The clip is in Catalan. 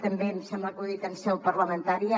també em sembla que ho he dit en seu parlamentària